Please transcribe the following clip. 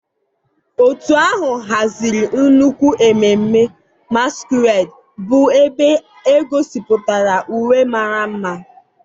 Òtù ahụ haziri nnukwu ememme masquerade, bụ́ ebe e gosipụtara uwe mara mma.